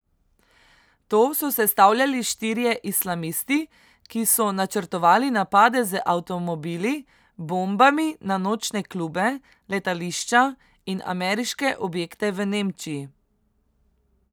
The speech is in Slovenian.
To so sestavljali štirje islamisti, ki so načrtovali napade z avtomobili bombami na nočne klube, letališča in ameriške objekte v Nemčiji.